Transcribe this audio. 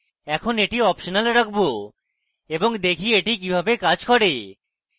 এখন এটি optional রাখবো এবং দেখি এটি কিভাবে কাজ করে